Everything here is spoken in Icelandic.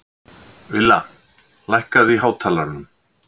Villa, lækkaðu í hátalaranum.